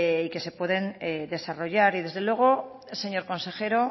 y que se pueden desarrollar y desde luego señor consejero